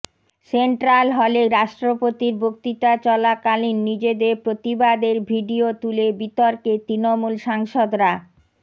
central হলে রাস্ট্রপতির বক্তৃতা চলাকালীন নিজেদের প্রতিবাদের ভিডিও তুলে বিতর্কে তৃণমূল সাংসদরা